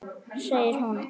Segir hún.